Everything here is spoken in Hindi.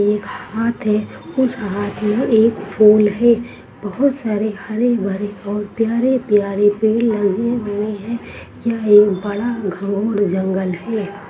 एक हाथ है उस हाथ मे एक फूल है बहुत सारे हरे-भरे और प्यारे-प्यारे पेड़ लगे हुए है यह एक बड़ा घोर जंगल है।